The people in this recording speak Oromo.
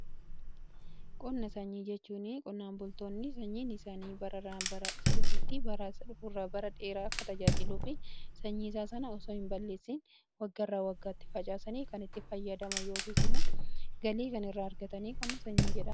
Qonna sanyii jechuun qonnaan bultoonni sanyiin isaanii bararraa bara dhufuutti akka tajaajiluufi sanyii isaa sana osoo hin balleessiin wagga irraa waggaatti facaasanii kan itti fayyadaman yookiin immoo galii kan irraa argatanii qonna sanyii jedhama.